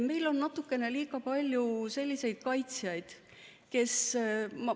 Meil on natukene liiga palju selliseid kaitsjaid.